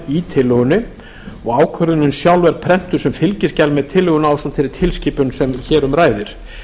í tillögunni og ákvörðunin sjálf er prentuð sem fylgiskjal með tillögunni ásamt þeirri tilskipun sem hér um ræðir